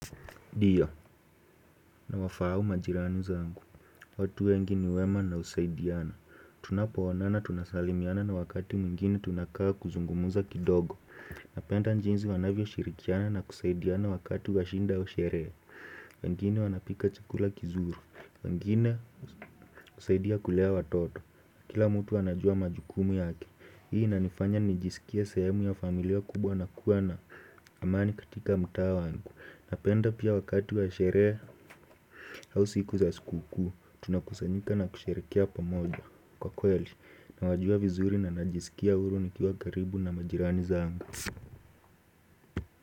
Ndiyo, nawafahamu majirani zangu. Watu wengi ni wema na husaidiana. Tunapo onana tunasalimiana na wakati mwingine tunakaa kuzungumuza kidogo. Napenda njinisi wanavyoshirikiana na kusaidiana wakati wa shida wa sherehe. Wengine wanapika chukula kizuru. Wengine husaidia kulea watoto. Kila mtu anajua majukumu yake. Hii inanifanya nijisikie sehemu ya familia kubwa na kuwa na amani katika mtaa wangu. Napenda pia wakati wa sherehe au siku za siku kuu, tunakusanyika na kusherehekea pamoja, kwa kweli nawajua vizuri na najisikia huru nikiwa karibu na majirani zangu.